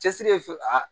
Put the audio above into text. Cɛsiri ye fɛn